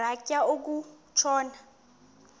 rhatya uku tshona